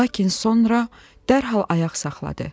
Lakin sonra dərhal ayaq saxladı.